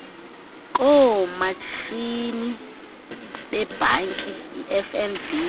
koomatshini bebhanki ifnb